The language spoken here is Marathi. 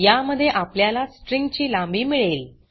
या मध्ये आपल्याला स्ट्रिंग ची लांबी मिळेल